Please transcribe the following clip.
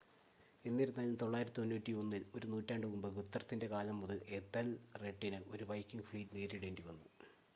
എന്നിരുന്നാലും 991-ൽ ഒരു നൂറ്റാണ്ട് മുമ്പ് ഗുത്രത്തിൻ്റെ കാലം മുതൽ എഥെൽറെഡിന് ഒരു വൈക്കിംഗ് ഫ്ലീറ്റ് നേരിടേണ്ടി വന്നു